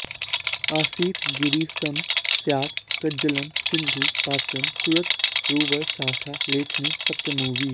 असितगिरिसमं स्यात् कज्जलं सिन्धुः पात्रं सुरतरुवरशाखा लेखनी पत्रमूर्वी